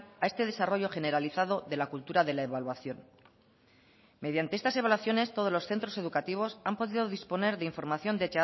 a este desarrollo generalizado de la cultura de la evaluación mediantes estas evaluaciones todos los centros educativos han podido disponer de información